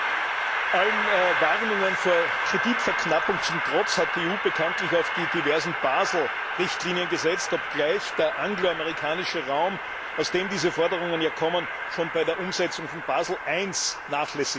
Allen Warnungen vor Kreditverknappung zum Trotz hat die EU bekanntlich auf die diversen Basel Richtlinien gesetzt, obgleich der anglo amerikanische Raum, aus dem diese Forderungen ja kommen, schon bei der Umsetzung von Basel I nachlässig war.